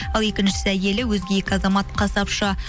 ал екіншісі әйелі өзге екі азамат қасапшы